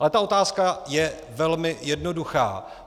Ale ta otázka je velmi jednoduchá.